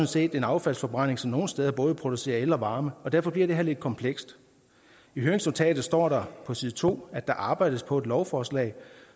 set en affaldsforbrænding som nogle steder både producerer el og varme og derfor bliver det her lidt komplekst i høringsnotatet står der på side to at der arbejdes på et andet lovforslag